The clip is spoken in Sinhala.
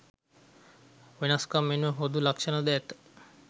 වෙනස්කම් මෙන්ම පොදු ලක්‍ෂණ ද ඇත.